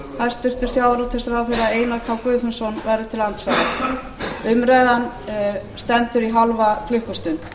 hæstvirtur sjávarútvegsráðherra einar k guðfinnsson verður til andsvara umræðan stendur í hálfa klukkustund